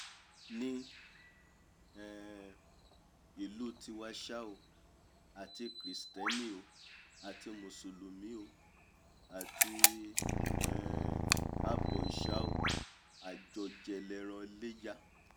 ní um ìlú tiwa ṣá o àti kìrìstẹ́nì o àti mùsùlùmí o àti um abọ̀ìṣà o àjọjẹ lẹran iléyá!